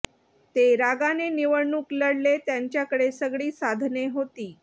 ते रागाने निवडणूक लढले त्यांच्याकडे सगळी साधने होती